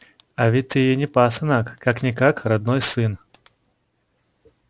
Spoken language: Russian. а ведь ты ей не пасынок как-никак родной сын